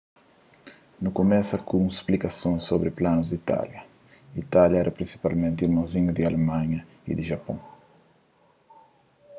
nu kumesa ku un splikason sobri planus di itália itália éra prinsipalmenti irmonzinhu di alemanha y di japôn